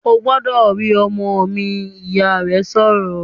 "Ó gbọ́dọ̀ rí ọmọ mi!", Ìyá rẹ̀ sọ̀rọ̀